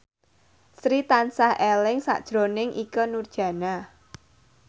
Sri tansah eling sakjroning Ikke Nurjanah